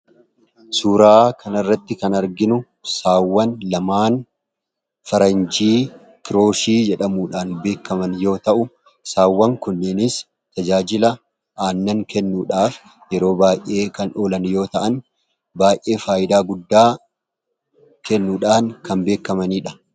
Suuraa kana irratti kan arginuu Sawwaan laman 'faranjii kiroshi' jedhamuudhaan beekaman yommuu ta'u, Sawwaan kunis tajajilaa aannaan kennuudhaaf yeroo baay'ee kan olaan yoo ta'aan, baay'ee faayidaa guddaa kennuudhaan kan beekamanidha.